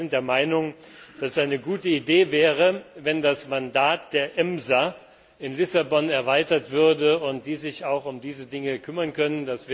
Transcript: Wir sind der Meinung, dass es eine gute Idee wäre, wenn das Mandat der EMSA in Lissabon erweitert würde und sie sich auch um diese Dinge kümmern könnte.